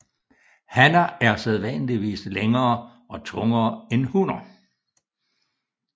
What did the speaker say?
Hanner er sædvanligvis længere og tungere end hunner